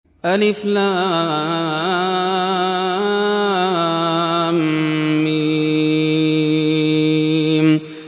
الم